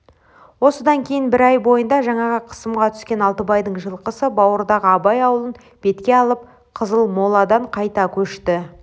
осыдан кейін бір ай бойында жаңағы қысымға түскен алтыбайдың жылқысы бауырдағы абай аулын бетке алып қызылмоладан қайта көшті